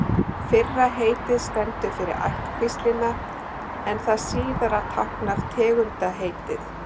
Fyrra heitið stendur fyrir ættkvíslina en það síðara táknar tegundarheitið.